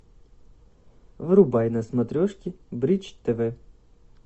врубай на смотрешке бридж тв